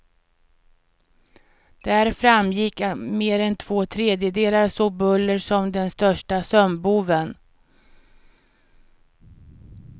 Där framgick att mer än två tredjedelar såg buller som den största sömnboven.